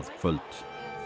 kvöld